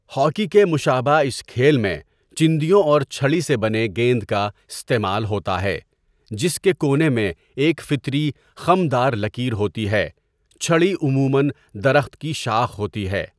Hockey کے مشابہ اس کھیل میں چِندیوں اور چھڑی سے بنے گیند کا استعمال ہوتا ہے جس کے کونے میں ایک فطری خم دار لکیر ہوتی ہے چھڑی عمومًا درخت کی شاخ ہوتی ہے.